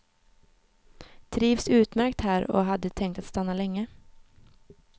Trivs utmärkt här och hade tänkt att stanna längre.